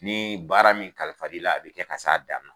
Ni baara min kalifal'i la a bɛ kɛ ka s'a dan na.